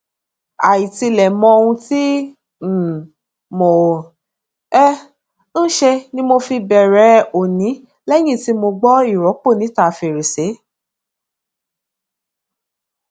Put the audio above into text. àìtilẹ mọ ohun tí um mò um ń ṣe ni mo fi bẹrẹ òní lẹyìn tí mo gbọ ìrọpọ níta fèrèsé